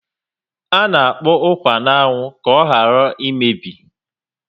Ana akpọ ukwa na anwụ ka oghara emebi